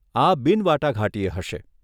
આ બિન વાટાઘાટીય હશે.